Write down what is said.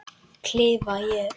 klifa ég.